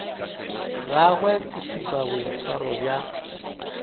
gagwe ke šupa boitshwaro bja